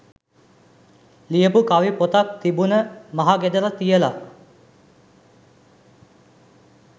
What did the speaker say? ලියපු කවි පොතක් තිබුන මහ ගෙදර තියල.